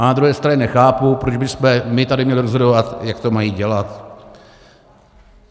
Ale na druhé straně nechápu, proč bychom my tady měli rozhodovat, jak to mají dělat.